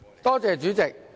多謝主席。